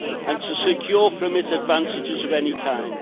and to secure from it advantages of any kind.